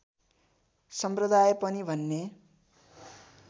सम्प्रदाय पनि भन्ने